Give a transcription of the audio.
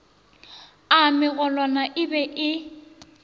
a magolwane e be e